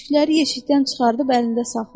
çiçəkləri yeşikdən çıxardıb əlində saxlayır.